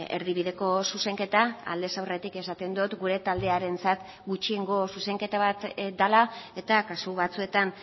erdibideko zuzenketa aldez aurretik esaten dut gure taldearentzat gutxiengo zuzenketa bat dela eta kasu batzuetan